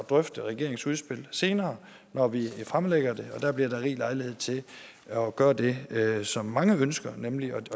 drøfte regeringens udspil senere når vi fremlægger det og der bliver der rig lejlighed til at gøre det som mange ønsker nemlig